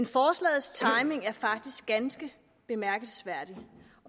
forslagets timing er dog faktisk ganske bemærkelsesværdig